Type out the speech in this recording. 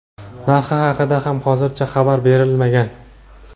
narxi haqida ham hozircha xabar berilmagan.